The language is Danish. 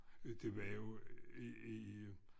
Det var jo i i